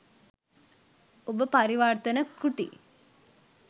ඔබ පරිවර්තන කෘති